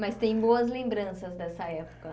Mas tem boas lembranças dessa época.